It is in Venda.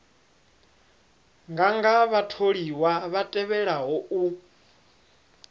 nganga vhatholiwa vha tevhelaho u